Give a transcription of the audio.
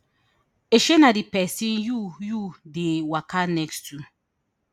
shey na di pesin you you dey waka next to